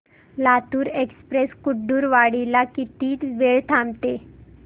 Latur express Kurduwadi ला किती वेळ थांबते